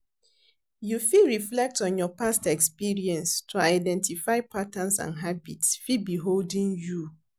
You fit reflect on your past experience to identify patterns and habits fit be holding you.